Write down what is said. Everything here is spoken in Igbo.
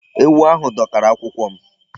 Ewu ahụ dọkara akwụkwọ m.